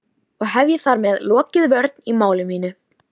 Og hef ég þar með lokið vörn í máli mínu.